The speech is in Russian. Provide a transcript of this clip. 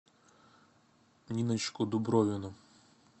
ниночку дубровину